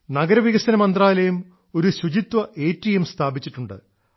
നഗരവികസന മന്ത്രാലയം ഒരു ശുചിത്വ എടിഎം സ്ഥാപിച്ചിട്ടുണ്ട്